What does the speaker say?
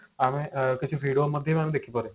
ଆମେ କିଛି video ମଧ୍ୟ ଦେଖିପାରୁ